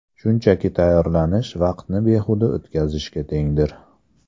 Shunchaki tayyorlanish vaqtni behuda o‘tkazishga tengdir.